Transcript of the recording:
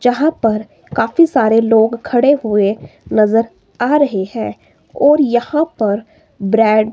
जहां पर काफी सारे लोग खड़े हुए नजर आ रहे है और यहां पर ब्रेड --